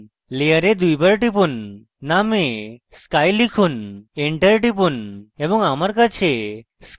layer দুইবার টিপুন name sky লিখুন enter টিপুন এবং আমার কাছে sky রয়েছে